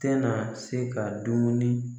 Tɛ na se ka dumuni